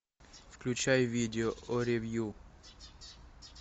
включай видео о ревью